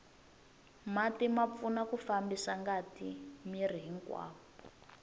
mati ma pfuna ku fambisa ngati miri hinkwawo